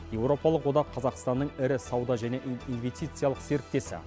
европалық одақ қазақстанның ірі сауда және инвестициялық серіктесі